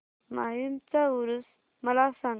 माहीमचा ऊरुस मला सांग